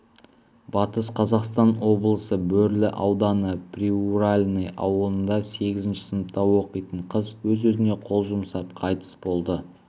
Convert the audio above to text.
батыс қазақстан облысы бөрлі ауданы приуральный ауылында сегізінші сыныпта оқитын қыз өз-өзіне қол жұмсап қайтыс болды